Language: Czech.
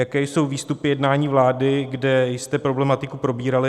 Jaké jsou výstupy jednání vlády, kde jste problematiku probírali?